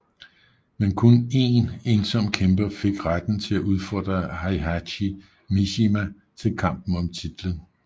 Men kun én ensom kæmper fik retten til at udfordre Heihachi Mishima til kampen om titlen